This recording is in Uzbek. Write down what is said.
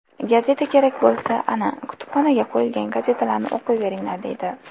Gazeta kerak bo‘lsa, ana, kutubxonaga qo‘yilgan gazetalarni o‘qiyveringlar”, deydi.